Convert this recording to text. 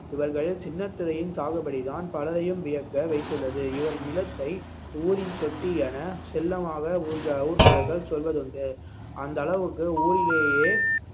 இவர்களில் சின்னத்துரையின் சாகுபடிதான் பலரையும் வியக்க வைத்துள்ளது இவரின் நிலத்தை ஊரின் தொட்டி என செல்லமாக ஊர்க்க~ ஊர்க்காரர்கள் சொல்வதுண்டு அந்த அளவுக்கு ஊரிலேயே